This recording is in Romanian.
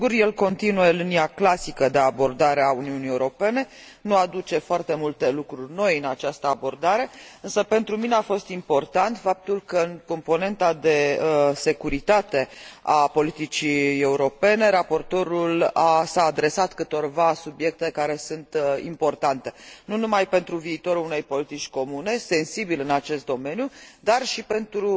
Sigur, el continuă linia clasică de abordare a Uniunii Europene nu aduce foarte multe lucruri noi în această abordare însă, pentru mine, a fost important faptul că, în componenta de securitate a politicii europene, raportorul a abordat câteva subiecte care sunt importante nu numai pentru viitorul unei politici comune, sensibil în acest domeniu, dar și pentru